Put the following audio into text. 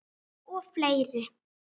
Og fleiri